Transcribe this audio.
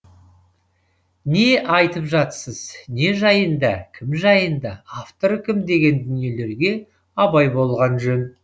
не айтып жатсыз не жайында кім жайында авторы кім деген дүниелерге абай болған жөн